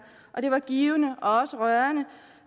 og det var givende og også rørende